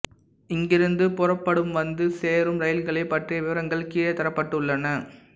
இங்கிருந்து புறப்படும்வந்து சேரும் ரயில்களைப் பற்றிய விவரங்கள் கீழே தரப்பட்டுள்ளன